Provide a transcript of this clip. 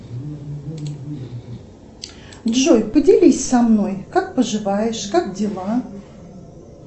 джой поделись со мной как поживаешь как дела